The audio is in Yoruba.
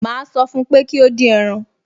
Màá sọ fún pé kí ó dín ẹran